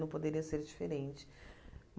Não poderia ser diferente.